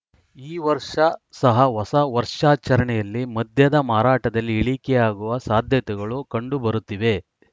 ಈ ವರ್ಷ ಸಹ ಹೊಸ ವರ್ಷಾಚರಣೆಯಲ್ಲಿ ಮದ್ಯದ ಮಾರಾಟದಲ್ಲಿ ಇಳಿಕೆಯಾಗುವ ಸಾಧ್ಯತೆಗಳು ಕಂಡು ಬರುತ್ತಿವೆ